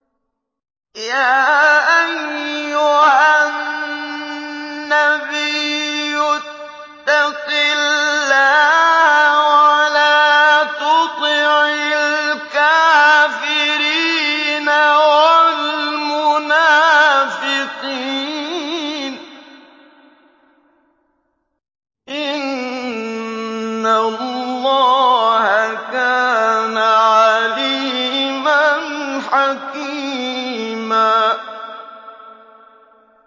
يَا أَيُّهَا النَّبِيُّ اتَّقِ اللَّهَ وَلَا تُطِعِ الْكَافِرِينَ وَالْمُنَافِقِينَ ۗ إِنَّ اللَّهَ كَانَ عَلِيمًا حَكِيمًا